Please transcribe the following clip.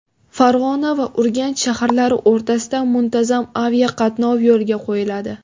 Farg‘ona va Urganch shaharlari o‘rtasida muntazam aviaqatnov yo‘lga qo‘yiladi.